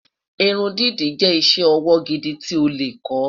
irun dídá jé iṣẹ ọwọ gidi tí o lẹ kò